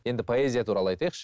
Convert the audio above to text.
енді поэзия туралы айтайықшы